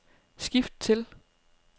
skift til